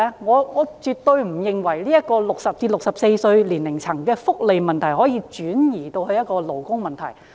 我絕對不認為60至64歲年齡層的福利問題可以轉移成勞工問題。